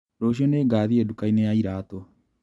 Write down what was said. Rũciũ ningathiĩ ndukainĩ ya iratũ.